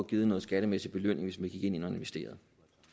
givet en skattemæssig belønning hvis man gik ind og investerede